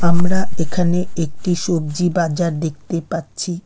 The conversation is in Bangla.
আমরা এখানে একটি সবজি বাজার দেখতে পাচ্ছি।